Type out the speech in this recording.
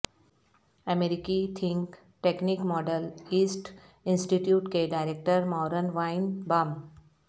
امریکی think tank Middle East institute کے director Marvin وائن بام